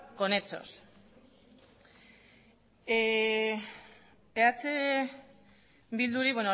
con hechos eh bilduri